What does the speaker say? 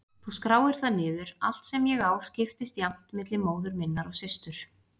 Þú skráir það niður- allt sem ég á skiptist jafnt milli móður minnar og systur